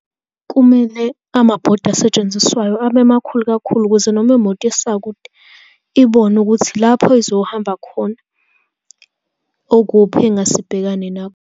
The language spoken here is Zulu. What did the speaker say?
Kumele amabhodi asetshenziswayo abe makhulu kakhulu, ukuze noma imoto isakude, ibone ukuthi lapho izohamba khona okuphi engase ibhekane nakho.